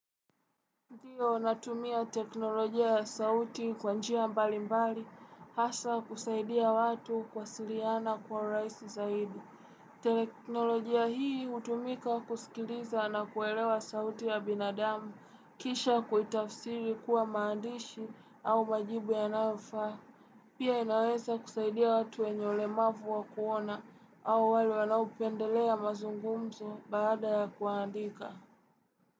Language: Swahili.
Ndiyo natumia teknolojia ya sauti kwa njia mbali mbali, hasa kusaidia watu kuwasiliana kwa urahisi zaidi. Teknolojia hii hutumika kusikiliza na kuelewa sauti ya binadamu, kisha kuitafsiri kuwa maandishi au majibu yanayofaa. Pia inaweza kusaidia watu wenye ulemavu wa kuona au wale wanaopendelea mazungumzo baada ya kuandika.